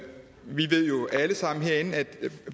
ved jo alle sammen herinde at der